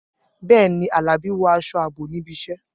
Bẹ́ẹ̀ ni, Alabi wọ aṣọ ààbò níbi iṣẹ́.